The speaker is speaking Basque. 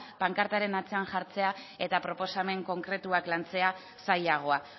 pankartaren atzean jartzea eta proposamen konkretuak lantzea zailagoa